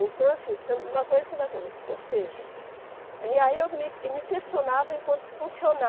Então assim, uma coisa que Ou seja, e aí eu me me questionava enquanto funcioná